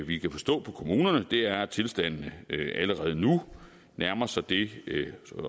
vi kan forstå på kommunerne er at tilstanden allerede nu nærmer sig det